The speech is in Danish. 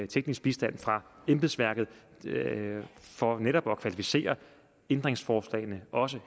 teknisk bistand fra embedsværket for netop at kvalificere ændringsforslagene også